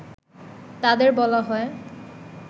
তাদের বলা হয়